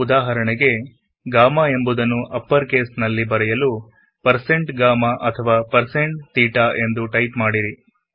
ಉದಾಹರಣೆಗೆಗಾಮ ಎಂಬುದನ್ನು upper case ನಲ್ಲಿ type ಮಾಡಲುಗಾಮ ಅಥವಾ160ತೇಟ ಎಂದು ಟೈಪ್ ಮಾಡಿರಿ